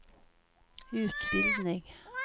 utbildning